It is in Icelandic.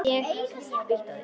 Ég hef spýtt á þig.